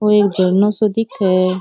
ओ एक झरनों सो दिख है।